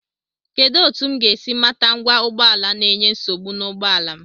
Kedụ etu m ga-esi mata ngwa ụgbọala na-enye nsogbu n'ụgbọala m?